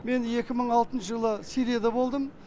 мен екі мың алтыншы жылы сирияда болдым